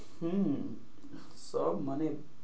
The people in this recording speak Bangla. হম সব মানে,